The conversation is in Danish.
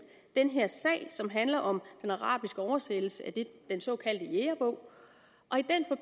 den her sag som handler om den arabiske oversættelse af den såkaldte jægerbog